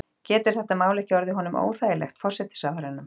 Getur þetta mál ekki orðið honum óþægilegt, forsætisráðherranum?